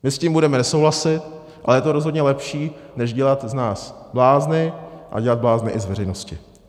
My s tím budeme nesouhlasit, ale je to rozhodně lepší, než dělat z nás blázny a dělat blázny i z veřejnosti.